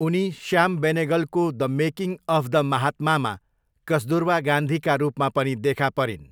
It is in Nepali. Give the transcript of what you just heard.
उनी श्याम बेनेगलको द मेकिङ अफ द महात्मामा कस्तुरबा गान्धीका रूपमा पनि देखा परिन्।